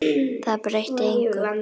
Það breytti engu.